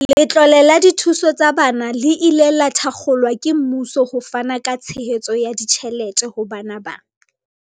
Letlole la dithuso tsa bana le ile la thakgolwa ke mmuso ho fana ka tshehetso ya ditjhelete ho bana ba